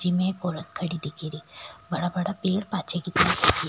जी में एक औरत खड़ा दिख री बड़ा बड़ा पेड़ पाछे की तरफ दिख --